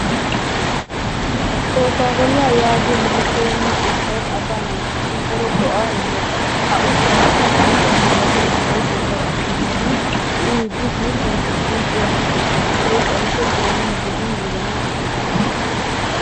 Kookkaa koollaa yaagiyo mattoyenna ushshay assaa naatussi daro go'aa immes. Ha ushshaassi suutta malatiya Meray de'iyaagaa gidishin uyiddi guutten guutten uyanawu koshshes hegee xayikko doonaa gidin wozanaa xuugges.